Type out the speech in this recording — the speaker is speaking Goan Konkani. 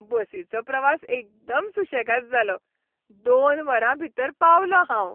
बसीचो प्रवास एकदम सुशेगाद जालो, दोन वरांभीतर पावलों हांव.